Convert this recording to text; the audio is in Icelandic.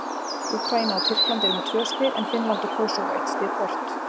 Úkraína og Tyrkland eru með tvö stig en Finnland og Kósóvó eitt stig hvort.